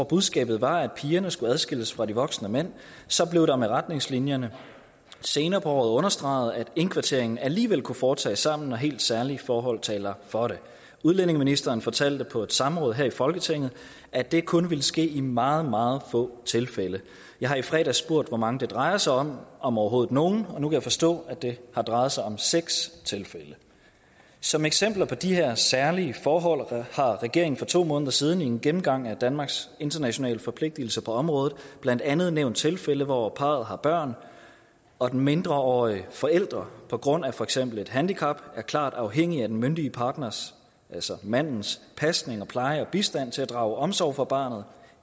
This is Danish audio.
budskabet var at pigerne skulle adskilles fra de voksne mænd så blev der med retningslinjerne senere på året understreget at indkvarteringen alligevel kan foretages sammen når helt særlige forhold taler for det udlændingeministeren fortalte på et samråd her i folketinget at det kun ville ske i meget meget få tilfælde jeg har i fredags spurgt hvor mange det drejer sig om om overhovedet nogen og nu kan jeg forstå at det har drejet sig om seks tilfælde som eksempler på de her særlige forhold har regeringen for to måneder siden i en gennemgang af danmarks internationale forpligtigelser på området blandt andet nævnt tilfælde hvor parret har børn og den mindreårige forælder på grund af for eksempel et handicap er klart afhængig af den myndige partners altså mandens pasning pleje og bistand til at drage omsorg for barnet